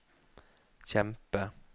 kjempe